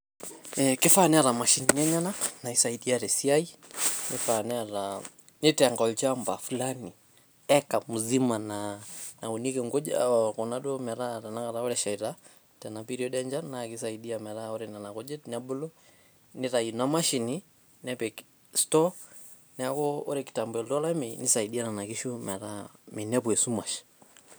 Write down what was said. Eh kifaa neeta mashinini enyenak naisaidia te siai ,nifaa neeta nitenga olchanmba fulani ,acre muzima naa naunieki nkujit ,kuna duo metaa ore tenakata eshaita ena period enchan naakisaidia meetaa ore nena kujit nebulu nitai ina mashini nepik store neku ore kitambo elotu olameyu kisaidia nena kishu metaa minepu esumash .